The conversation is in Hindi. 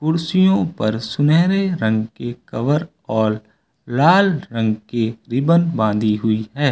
कुर्सियों पर सुनहरे रंग की कवर और लाल रंग की रिबन बांधी हुई है।